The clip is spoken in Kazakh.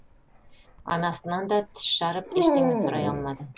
анасынан да тіс жарып ештеңе сұрай алмады